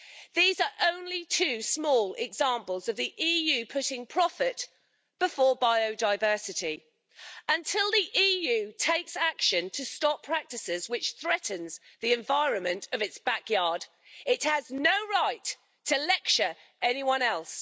These are only two small examples of the EU putting profit before biodiversity. Until the EU takes action to stop practices which threaten the environment of its backyard, it has no right to lecture anyone else.